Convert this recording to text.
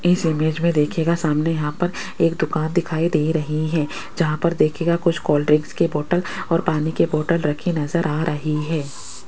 इस इमेज में दिखेगा सामने यहां पर एक दुकान दिखाई दे रही है जहां पर देखियेगा कुछ कोल्ड ड्रिंक के बोतल और पानी के बोतल रखी नजर आ रही है।